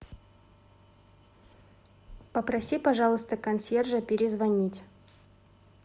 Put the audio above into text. попроси пожалуйста консьержа перезвонить